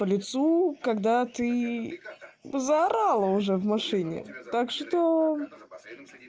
по лицу когда ты заорала уже в машине так что